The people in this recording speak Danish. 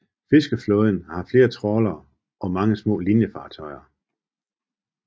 Fiskeflåden har flere trawlere og mange små linefartøjer